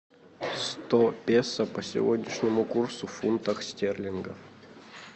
сто песо по сегодняшнему курсу в фунтах стерлингах